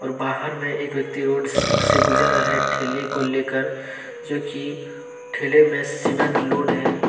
और बाहर में एक व्यक्ति रोड से गुजर रहे ठेले को लेकर जो कि ठेले में सीमेंट लोड है।